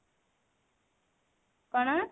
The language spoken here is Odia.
କଣ?